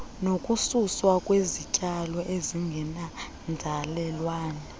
nokususwa kwezityalo ezingeyonzalelwane